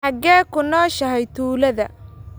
Xagee ku nooshahay tuulada?